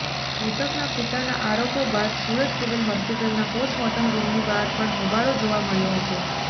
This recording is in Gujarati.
મૃતકના પિતાના આરોપો બાદ સુરત સિવિલ હોસ્પિટલના પોસ્ટમોર્ટમ રૂમની બહાર પણ હોબાળો જોવા મળ્યો હતો